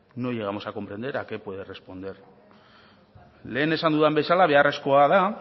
no llegamos a comprender a qué puede responder lehen esan dudan bezala beharrezkoa da